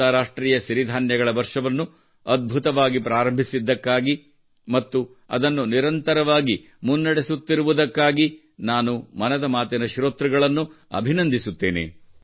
ಅಂತರಾಷ್ಟ್ರೀಯ ಸಿರಿಧಾನ್ಯಗಳ ವರ್ಷವನ್ನು ಅದ್ಭುತವಾಗಿ ಪ್ರಾರಂಭಿಸಿದ್ದಕ್ಕಾಗಿ ಮತ್ತು ಅದನ್ನು ನಿರಂತರವಾಗಿ ಮುನ್ನಡೆಸುತ್ತಿರುವುದಕ್ಕಾಗಿ ನಾನು ಮನದ ಮಾತಿನ ಶ್ರೋತೃಗಳನ್ನು ಅಭಿನಂದಿಸುತ್ತೇನೆ